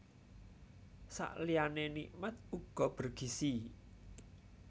Sakliyané nikmat uga bergizi